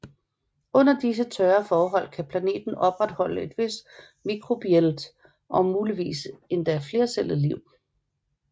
Under disse tørre forhold kan planeten opretholde et vist mikrobielt og muligvis endda flercellet liv